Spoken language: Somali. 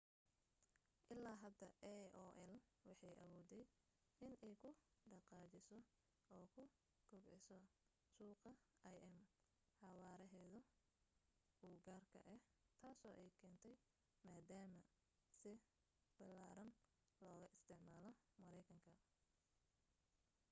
ilaa hadda aol waxay awooday inay ku dhaqaajiso oo ku kubciso suuqa im xawaarahooda u gaarka ah taasoo ay keentay maadaama si ballaaran looga isticmaalo maraykanka